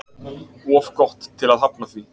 Of gott til að hafna því